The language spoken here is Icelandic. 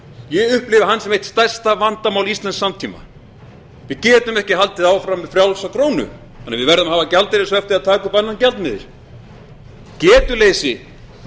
ég upplifi hann sem eitthvert stærsta vandamál íslensks samtíma við getum ekki haldið áfram með frjálsa krónu þannig að við verðum að hafa gjaldeyrishöft eða taka upp annan gjaldmiðil getuleysi